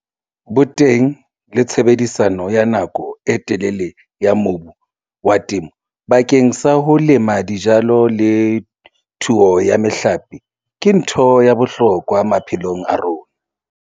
Boteng le tshebediso ya nako e telele ya mobu wa temo bakeng sa ho lema dijalo le thuo ya mehlape ke ntho ya bohlokwa maphelong a rona.